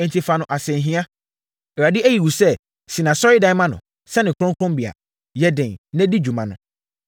Enti, fa no asɛnhia. Awurade ayi wo sɛ si asɔredan ma no, sɛ ne kronkronbea. Yɛ den, na di dwuma no.”